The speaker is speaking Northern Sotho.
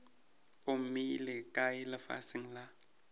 o mmeile kae lefaseng la